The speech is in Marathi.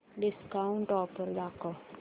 डिस्काऊंट ऑफर दाखव